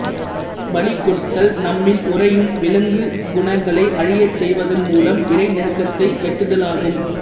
பலி கொடுத்தல் நம்மில் உறையும் விலங்குக் குணங்களைஅழியச் செய்வதன் மூலம் இறைநெருக்கத்தை எட்டுதலாகும்